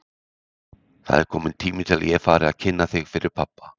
Það er kominn tími til að ég fara að kynna þig fyrir pabba!